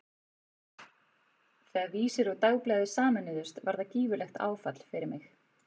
Þegar Vísir og Dagblaðið sameinuðust var það gífurlegt áfall fyrir mig.